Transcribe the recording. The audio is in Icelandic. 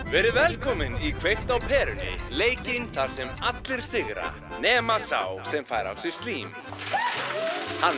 verið velkomin í kveikt á perunni leikinn þar sem allir sigra nema sá sem fær á sig slím hann